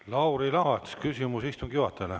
Lauri Laats, küsimus istungi juhatajale.